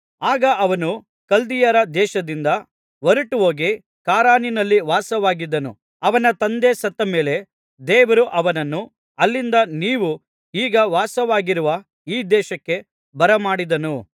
ಆಗ ಅವನು ಕಲ್ದೀಯರ ದೇಶದಿಂದ ಹೊರಟುಹೋಗಿ ಖಾರಾನಿನಲ್ಲಿ ವಾಸವಾಗಿದ್ದನು ಅವನ ತಂದೆ ಸತ್ತಮೇಲೆ ದೇವರು ಅವನನ್ನು ಅಲ್ಲಿಂದ ನೀವು ಈಗ ವಾಸವಾಗಿರುವ ಈ ದೇಶಕ್ಕೆ ಬರಮಾಡಿದನು